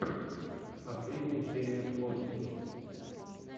последняя серия флости